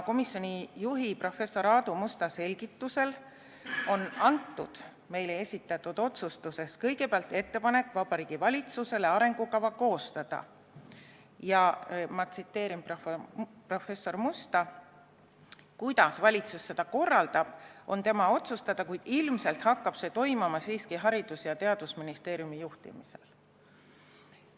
Komisjoni juhi, professor Aadu Musta selgitusel sisaldab meile esitatud otsus Vabariigi Valitsusele tehtavat ettepanekut arengukava koostada ja professor Musta sõnul on viis, kuidas valitsus seda korraldab, valitsuse otsustada, kuid ilmselt hakkab see toimuma Haridus- ja Teadusministeeriumi juhtimisel.